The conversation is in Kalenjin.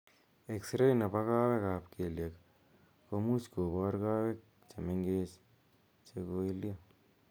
Exray nepo kawek ap kelyek komuuch kobor kawek che mengechen che koilyo.